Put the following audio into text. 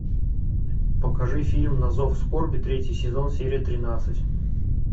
покажи фильм на зов скорби третий сезон серия тринадцать